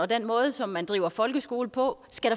den måde som man driver folkeskole på skal